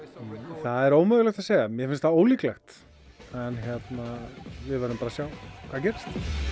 það er ómögulegt að segja mér finnst það ólíklegt en við verðum bara að sjá hvað gerist